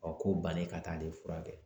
Ɔ k'o bannen ka taa ale furakɛ.